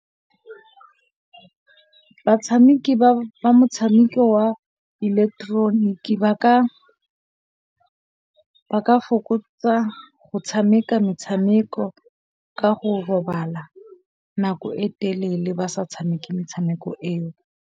Batshameki ba motshameko wa ileketeroniki ba ka fokotsa go tshameka metshameko ka go robala nako e telele ba sa tshameke metshameko eo.